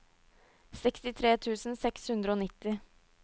sekstitre tusen seks hundre og nitti